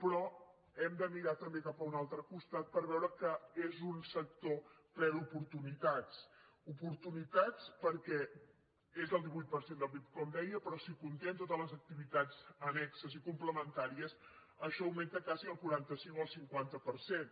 però hem de mirar també cap a un altre costat per veure que és un sector ple d’oportunitats oportunitats perquè és el divuit per cent del pib com deia però si comptem totes les activitats annexes i complementàries això augmenta quasi al quaranta cinc o al cinquanta per cent